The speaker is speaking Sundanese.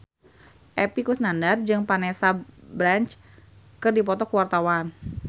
Epy Kusnandar jeung Vanessa Branch keur dipoto ku wartawan